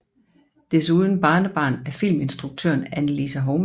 Desuden barnebarn af filminstruktøren Annelise Hovmand